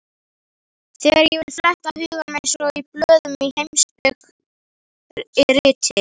Þegar ég vil fletta huganum eins og blöðum í heimspekiriti.